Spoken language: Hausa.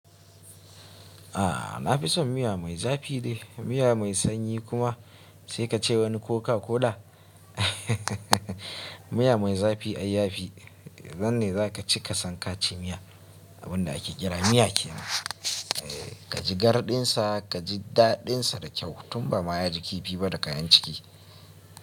A'a, na fi son miya mai zafi dai, miya mai sanyi kuma sai ka ce wani Coca Cola. Miya mai zafi, ayyafi. Nan ne zaka ci ka san ka ci miya. Abin da ake kira miya ke nan. Eh, ka ji garɗin sa, ka ji daɗin sa da kyau tun ba ma ya ji kifi ba da kayan ciki.